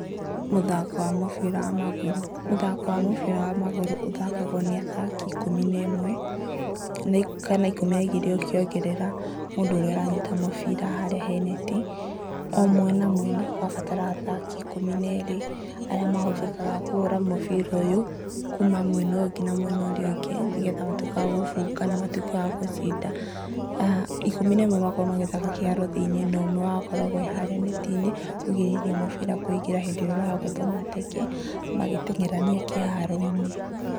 Mũthako wa mũbira wa magũrũ, mũthako wa mũbira wa magũrũ ũthakagwo nĩ athaki ikũmi na ĩmwe kana ikũmi na igĩrĩ ũkĩongerera mũndũ ũrĩa ũranyita mũbira harĩa he neti, o mwena mwena ũrabatara athaki ikũmi na erĩ, arĩa mahũthĩkaga kũhũra mũbira ũyũ kuma mwena ũyũ nginya mwena ũrĩa ũngĩ, nĩgetha matuĩkĩ a gũbunga kana matuĩkĩ a gũcinda, aah ikũmi na ĩmwe makoragwo magĩthaka kĩharo thĩiniĩ, no ũmwe wao akoragwo harĩa neti-inĩ kũgirĩrĩria mũbira kũingĩra rĩrĩa ũragũthwo mateke magĩtengerania kĩharo-inĩ.